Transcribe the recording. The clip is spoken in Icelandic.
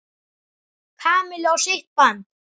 Kamillu á sitt band.